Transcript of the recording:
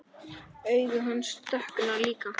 Augu hans dökkna líka.